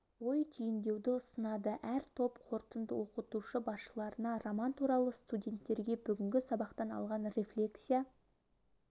ой түйіндеуді ұсынады әр топ қорытынд оқытушы басшыларына роман туралы студенттерге бүгінгі сабақтан алған рефлексия